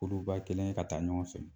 Kuluba kelen ye ka taa ɲɔgɔn fɛ